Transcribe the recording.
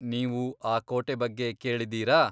ನೀವು ಆ ಕೋಟೆ ಬಗ್ಗೆ ಕೇಳಿದ್ದೀರಾ?